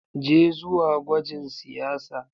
Je zuwa gwajin siyasa.